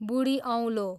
बुढी औँलो